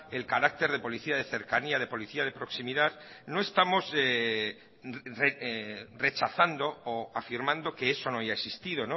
el carácter de policía de cercanía de policía de proximidad no estamos rechazando o afirmando que eso no haya existido